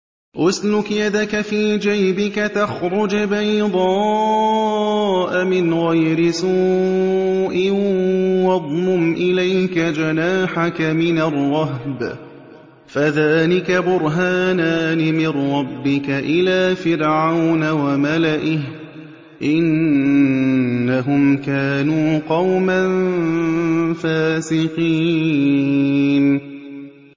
اسْلُكْ يَدَكَ فِي جَيْبِكَ تَخْرُجْ بَيْضَاءَ مِنْ غَيْرِ سُوءٍ وَاضْمُمْ إِلَيْكَ جَنَاحَكَ مِنَ الرَّهْبِ ۖ فَذَانِكَ بُرْهَانَانِ مِن رَّبِّكَ إِلَىٰ فِرْعَوْنَ وَمَلَئِهِ ۚ إِنَّهُمْ كَانُوا قَوْمًا فَاسِقِينَ